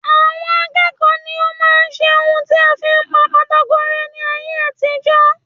Àwọn akẹ́kọ̀ọ́ ní o máa ń ṣe ohun tí a fi ń pa pátákó rẹ́ ní ayé àtijó.